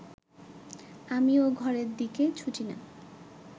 আমি ও ঘরের দিকে ছুটি না